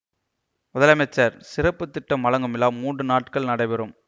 முதலமைச்சர் சிறப்பு திட்டம் வழங்கும் விழா மூன்று நாட்கள் நடைபெறும்